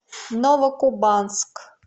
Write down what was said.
новокубанск